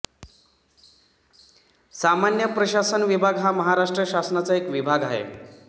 सामान्य प्रशासन विभाग हा महाराष्ट्र शासनाचा एक विभाग आहे